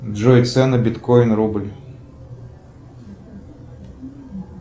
джой цены биткоин рубль